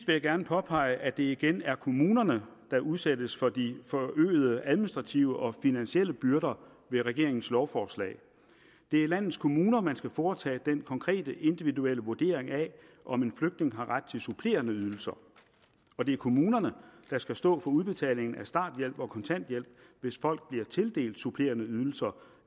jeg gerne påpege at det igen er kommunerne der udsættes for de forøgede administrative og finansielle byrder med regeringens lovforslag det er i landets kommuner man skal foretage den konkrete individuelle vurdering af om en flygtning har ret til supplerende ydelser og det er kommunerne der skal stå for udbetalingen af starthjælp og kontanthjælp hvis folk bliver tildelt supplerende ydelser